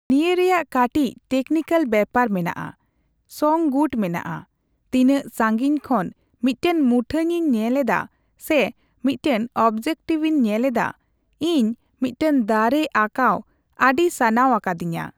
ᱱᱤᱭᱟᱹ ᱨᱮᱭᱟᱜ ᱠᱟᱴᱤᱪ ᱴᱮᱠᱱᱤᱠᱮᱞ ᱵᱮᱯᱟᱨ ᱢᱮᱱᱟᱜᱼᱟ, ᱥᱚᱝᱼ ᱜᱩᱴ ᱢᱮᱱᱟᱜᱼᱟ᱾ ᱛᱤᱱᱟᱹᱜ ᱥᱟᱺᱜᱤᱧ ᱠᱷᱚᱱ ᱢᱤᱫᱴᱮᱱ ᱢᱩᱴᱷᱟᱹᱱᱤᱧ ᱧᱮᱞ ᱮᱫᱟ ᱥᱮ ᱢᱤᱫᱴᱮᱱ ᱚᱵᱡᱮᱠᱴᱤᱵᱤᱧ ᱧᱮᱞ ᱮᱫᱟ᱾ ᱤᱧ ᱢᱤᱫᱴᱮᱱ ᱫᱟᱨᱮ ᱟᱸᱠᱟᱣ ᱟᱹᱰᱤ ᱥᱟᱱᱟᱣ ᱟᱠᱟᱫᱤᱧᱟ᱾